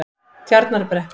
Tjarnarbrekku